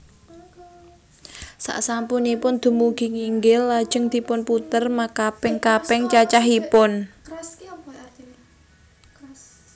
Sasampunipun dumugi nginggil lajeng dipunputer makaping kaping cacahipun